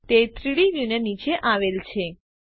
તે 3ડી વ્યુ નીચે આવેલ છે